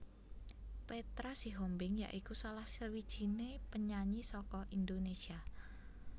Petra Sihombing ya iku salah sawijiné penyanyi saka Indonésia